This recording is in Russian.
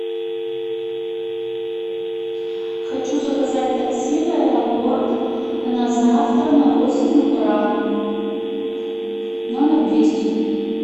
хочу заказать такси в аэропорт на завтра на восемь утра номер двести